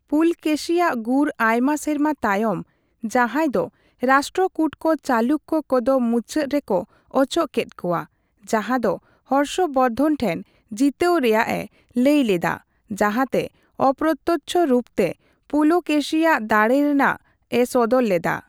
ᱯᱩᱞᱠᱮᱥᱤᱭᱟᱜ ᱜᱩᱨ ᱟᱭᱢᱟ ᱥᱮᱨᱢᱟ ᱛᱟᱭᱚᱢ ᱡᱟᱦᱟᱸᱭ ᱫᱚ ᱨᱟᱥᱴᱨᱚᱠᱩᱴᱠᱚ ᱪᱟᱞᱩᱠᱭᱚ ᱠᱚᱫᱚ ᱢᱩᱪᱟᱫ ᱨᱮᱠᱚ ᱚᱪᱚᱜ ᱠᱮᱫ ᱠᱚᱣᱟ, ᱡᱟᱦᱟᱸᱫᱚ ᱦᱚᱨᱥᱚᱵᱚᱨᱫᱷᱚᱱ ᱴᱷᱮᱱ ᱡᱤᱛᱟᱹᱣ ᱨᱮᱭᱟᱜ ᱮ ᱞᱟᱹᱭᱞᱮᱫᱟ, ᱡᱟᱦᱟᱸᱛᱮ ᱚᱯᱨᱚᱛᱚᱪᱷᱚ ᱨᱩᱯ ᱛᱮ ᱯᱩᱞᱠᱮᱥᱤᱭᱟᱜ ᱫᱟᱲᱮᱨᱮᱱᱟᱜ ᱮ ᱥᱚᱫᱚᱨ ᱞᱮᱫᱟ᱾